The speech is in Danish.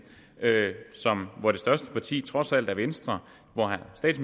hvor det største parti trods alt er venstre